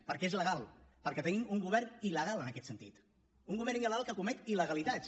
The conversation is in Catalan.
perquè és legal perquè tenim un govern il·legal en aquest sentit un govern illegalitats